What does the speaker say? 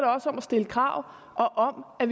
også om at stille krav og om at